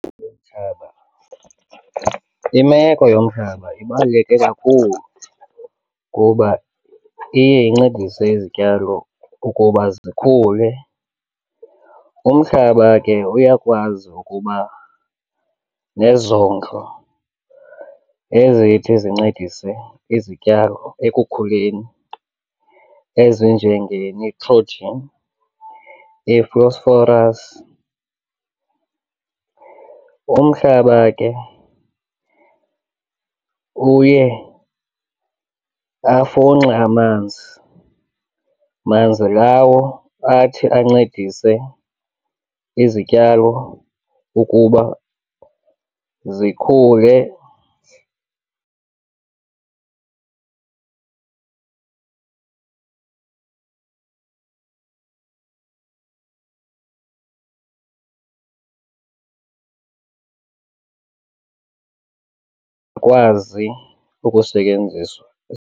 Imeko yomhlaba ibaluleke kakhulu kuba iye incedise izityalo ukuba zikhule. Umhlaba ke uyakwazi ukuba nezondlo ezithi zincedise izityalo ekukhuleni ezinjengenitrojin, ifosforas. Umhlaba ke uye afunxe amanzi, manzi lawo athi ancedise izityalo ukuba zikhule, kwazi ukusetyenziswa.